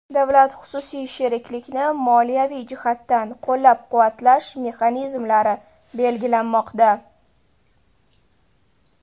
Davlat-xususiy sheriklikni moliyaviy jihatdan qo‘llab-quvvatlash mexanizmlari belgilanmoqda.